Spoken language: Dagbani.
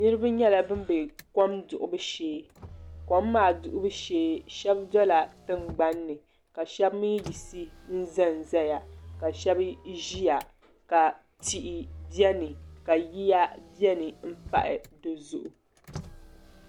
niriba nyɛla ban be kom duɣibu shee kom maa duɣibu shee shɛba dola tiŋgbani ni ka shɛba mi yiɣisi n-za n-zaya ka shɛba ʒiya ka tihi beni ka yiya beni m-pahi di zuɣu.